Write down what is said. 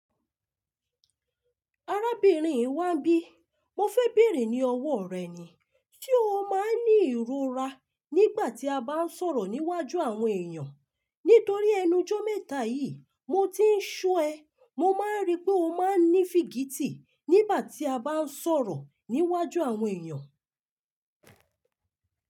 Arábìnrin i wa n bí, mo fẹ́ bèèrè ní ọwọ́ rẹ ni, ṣé o máa ń ní ìrora nígbà tí a bá ń sọ̀rọ̀ níwájú àwọn èèyàn? Nítorí ẹnuujọ́ mẹ́ta yìí, mo ti ń ṣo ẹ, mo máa ń rí pé o máa ń ní fìgítì nígbà tí a bá ń sọ̀rọ̀ níwájú àwọn èèyàn.